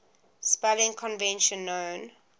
spelling convention known